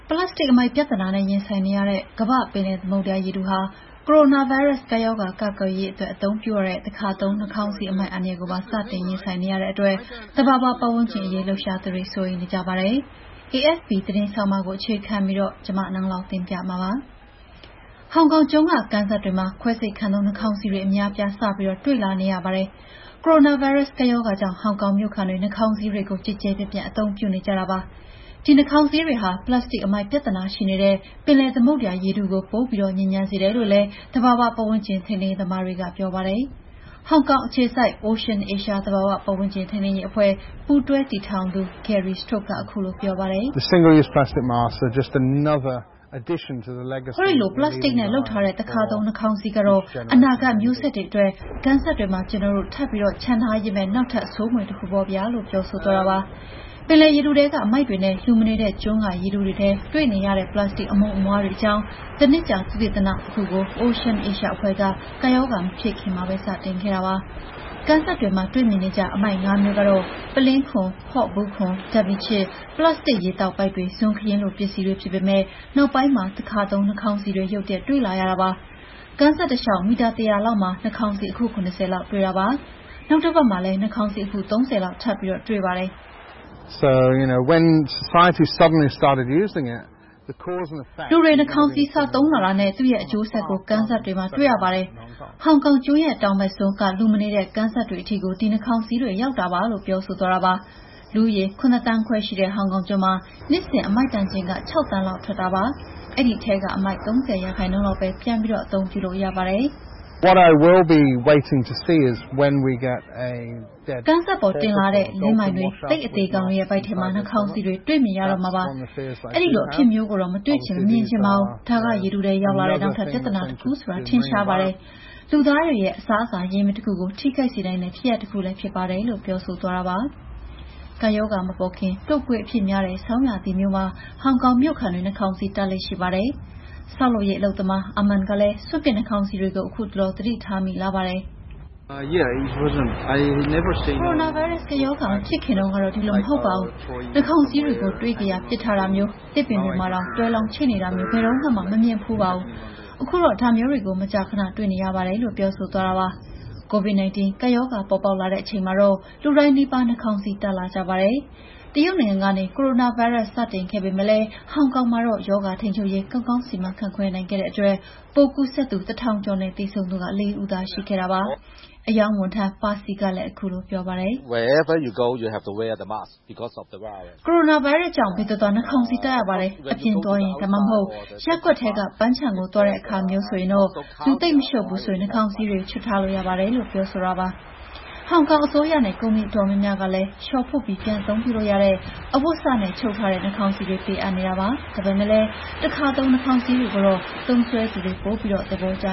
ပလတ်စတစ်အမှိုက် ပြဿနာနဲ့ ရင်ဆိုင်နေရတဲ့ ကမ္ဘာ့ပင်လယ်သမုဒ္ဒရာ ရေထုဟာ ကိုရိုနာဗိုင်းရပ်စ် ကပ်ရောဂါ ကာကွယ်ရေးအတွက် အသုံးပြုရတဲ့ တခါသုံး နှာခေါင်းစည်း အမှိုက်အန္တရာယ်ကိုပါ စတင် ရင်ဆိုင်နေရတဲ့အတွက် သဘာဝပတ်ဝန်းကျင်ရေး လှုပ်ရှားသူတွေ စိုးရိမ်နေကြပါတယ်။ AFP သတင်းဆောင်းပါးကို အခြေခံပြီး နန်းလောင်ဝ်က တင်ပြထားပါတယ်။ ဟောင်ကောင်ကျွန်းက ကမ်းစပ်တွေမှာ ခွဲစိတ်ခန်းသုံး နှာခေါင်းစည်းတွေ အများအပြား စပြီး တွေ့လာနေရပါတယ်။ ကိုရိုနာဗိုင်းရပ်စ် ကပ်ရောဂါကြောင့် ဟောင်ကောင်မြို့ခံတွေ နှာခေါင်းစည်းတွေကို ကျယ်ကျယ်ပြန့်ပြန့် အသုံးပြုနေကြတာပါ။ ဒီနှာခေါင်းစည်းတွေဟာ ပလတ်စတစ် အမှိုက်ပြဿနာရှိနေတဲ့ ပင်လယ်သမုဒ္ဒရာ ရေထုကို ပိုပြီး ညစ်ညမ်းစေတယ်လို့လည်း သဘာဝပတ်ဝန်းကျင် ထိန်းသိမ်းရေးသမားတွေက ပြောပါတယ်။ ဟောင်ကောင်အခြေစိုက် OceanAsia သဘာဝပတ်ဝန်းကျင် ထိန်းသိမ်းရေးအဖွဲ့ ပူးတွဲတည်ထောင်သူ Gary Stokes က - “ဟောဒီလို ပလတ်စတစ်နဲ့ လုပ်ထားတဲ့ တခါသုံး နှာခေါင်းစည်းကတော့ အနာဂတ်မျိုးဆက်တွေအတွက် ကမ်းစပ်တွေမှာ ကျနော်တို့ ထပ်ပြီး ချန်ထားပေးမယ့် နောက်ထပ် ဆိုးမွေတခုပေါ့ဗျာ။" လို့ ပြောပါတယ်။ ပင်လယ်ရေထုထဲက အမှိုက်တွေနဲ့ လူမနေတဲ့ကျွန်းက ရေထုထဲ တွေ့ရတဲ့ ပလတ်စတစ် အမှုန်အမွှားတွေအကြောင်း တနှစ်ကြာ သုတေသနတခုကို OceanAsia အဖွဲ့က ကပ်ရောဂါမဖြစ်ခင်မှာပဲ စတင်ခဲ့ပါတယ်။ ကမ်းစပ်တွေမှာ တွေ့မြင်နေကျ အမှိုက် ၅ မျိုးကတော့ ပုလင်းခွံ၊ ဖော့ဘူးခွံ၊ ဓာတ်မီးခြစ်၊ ပလတ်စတစ် ရေသောက်ပိုက်တွေ၊ ဇွန်းခက်ရင်းလို ပစ္စည်းတွေ ဖြစ်ပေမယ့် နောက်ပိုင်းမှာ တခါသုံး နှာခေါင်းစည်းတွေ ရုတ်တရက် တွေ့လာပါတယ်။ ကမ်းစပ်တလျှောက် မီတာ ၁၀၀ လောက်မှာ နှာခေါင်းစည်း အခု ၇၀ လောက် တွေ့ပါတယ်။ နောက်တပတ်မှာလည်း နှာခေါင်းစည်း အခု ၃၀ လောက် ထပ်တွေ့ပါတယ်။ “လူတွေ နှာခေါင်းစည်း စသုံးလာတာနဲ့ သူ့ရဲ့အကျိုးဆက်ကို ကမ်းစပ်တွေမှာ တွေ့ရပါတယ်။ ဟောင်ကောင်ကျွန်းရဲ့ တောင်ဘက်စွန်းက လူမနေတဲ့ ကမ်းစပ်တွေထိကို ဒီနှာခေါင်းစည်းတွေ ရောက်ပါတယ်။" လို့ Gary Stokes က ပြောပါတယ်။ လူဦးရေ ၇ သန်းခွဲရှိတဲ့ ဟောင်ကောင်ကျွန်းမှာ နှစ်စဉ် အမှိုက်တန်ချိန် ၆ သန်းလောက် ထွက်တာပါ။ အဲဒီအမှိုက်ထဲက ၃၀ ရာခိုင်နှုန်းလောက်ကိုပဲ ပြန်အသုံးပြုလို့ ရပါတယ်။ "ကမ်းပေါ်တင်လာတဲ့ လင်းပိုင်တွေ၊ လိပ်အသေကောင်တွေရဲ့ ဗိုက်ထဲမှာ နှာခေါင်းစည်းတွေ မြင်ရတော့မှာပါ။ အဲဒီအဖြစ်မျိုးကိုတော့ မတွေ့မြင်ချင်ပါဘူး။ ဒါက ရေထုထဲရောက်လာတဲ့ နောက်ထပ်ပြဿနာတခုဆိုတာ ထင်ရှားပါတယ်။ လူသားတွေရဲ့ အစားအစာ ရင်းမြစ်တခုကို ထိခိုက်စေနိုင်တဲ့ ဖြစ်ရပ်တခုလည်း ဖြစ်ပါတယ်။" လို့ Gary Stokes က ပြောပါတယ်။ ကပ်ရောဂါမပေါ်ခင် တုပ်ကွေးအဖြစ်များတဲ့ ဆောင်းရာသီမျိုးမှာ ဟောင်ကောင်မြို့ခံတွေ နှာခေါင်းစည်းတပ်လေ့ ရှိပါတယ်။ ဆောက်လုပ်ရေးအလုပ်သမား Amand ကလည်း စွန့်ပစ်နှာခေါင်းစည်းတွေကို ခုတလော သတိထားမိပါတယ်။ "ကိုရိုနာဗိုင်းရပ်စ် ကပ်ရောဂါ မဖြစ်ခင်တုန်းကတော့ ဒီလိုမဟုတ်ပါဘူး။ နှာခေါင်းစည်းတွေကို တွေ့ကရာ ပစ်ထားတာမျိုး၊ သစ်ပင်တွေပေါ်မှာ တွဲလောင်းချိတ်နေတာမျိုး ဘယ်တုန်းကမှ မမြင်ဖူးပါဘူး။ ခုတော့ ဒါမျိုးတွေကို မကြာခဏ တွေ့နေရပါတယ်။" COVDI-19 ကပ်ရောဂါ ပေါ်လာတဲ့အချိန်မှာတော့ လူတိုင်းနီးပါး နှာခေါင်းစည်း တပ်လာကြပါတယ်။ တရုတ်နိုင်ငံကနေ ကိုရိုနာဗိုင်းရပ်စ် စတင်ခဲ့ပေမယ့် ဟောင်ကောင်မှာတော့ ရောဂါထိန်းချုပ်ရေး ကောင်းကောင်း စီမံခန့်ခွဲနိုင်ခဲ့တဲ့အတွက် ပိုးကူးစက်သူ ၁,၀၀၀ ကျော်နဲ့ သေဆုံးသူ ၄ ဦးသာ ရှိခဲ့ပါတယ်။ အရောင်းဝန်ထမ်းတဦးဖြစ်သူ Percy က - "ဗိုင်းရပ်စ်ကြောင့် ဘယ်သွားသွား နှာခေါင်းစည်းတပ်ရပါတယ်။ အပြင်သွားရင် ဒါမှမဟုတ် ရပ်ကွက်ထဲက ပန်းခြံကို သွားတဲ့အခါ လူသိပ်မရှုပ်ဘူးရင်တော့ နှာခေါင်းစည်းတွေ ချွတ်ထားလို့ရပါတယ်။" လို့ ပြောပါတယ်။ ဟောင်ကောင်အစိုးရနဲ့ ကုမ္ပဏီ အတော်များများကလည်း လျှော်ဖွပ်ပြီး ပြန်အသုံးပြုလို့ရတဲ့ အဝတ်စနဲ့ ချုပ်ထားတဲ့ နှာခေါင်းစည်းတွေ ပေးအပ်နေတာပါ။ ဒါပေမယ့်လည်း တခါသုံး နှာခေါင်းစည်းတွေကိုတော့ သုံးစွဲသူတွေက ပိုပြီး သဘောကျ